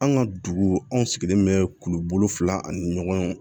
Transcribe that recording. An ka dugu anw sigilen bɛ kuluko fila ani ɲɔgɔn